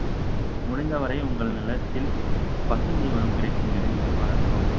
முடிந்தவரை உங்கள் நிலத்தில் பசுந்தீவனம் கிடைக்கும் இடங்களில் வளர்க்கவும்